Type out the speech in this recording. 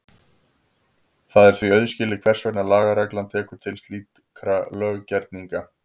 Það er því auðskilið hvers vegna lagareglan tekur til slíkra löggerninga.